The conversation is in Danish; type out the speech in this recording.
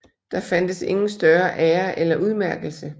Der fandtes ingen større ære eller udmærkelse